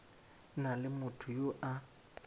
na le motho yo a